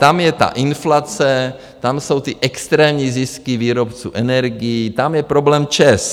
Tam je ta inflace, tam jsou ty extrémní zisky výrobců energií, tam je problém ČEZ.